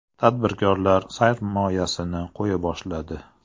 Tadbirkorlar sarmoyasini qo‘ya boshladi.